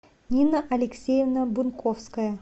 нина алексеевна бунковская